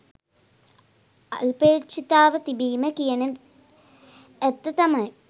අල්පේච්ඡතාව තිබීම කියන ඇත්ත තමයි